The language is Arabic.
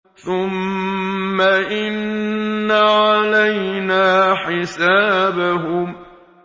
ثُمَّ إِنَّ عَلَيْنَا حِسَابَهُم